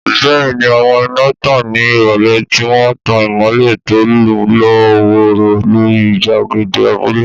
Bẹ́ẹ̀ni, àwọn iná tàn ní ìrọ̀lẹ́, tí wọ́n ń tan ìmọ́lẹ̀ tó lọ́ wọ́ọ́rọ́ lórí gbàgede abúlé.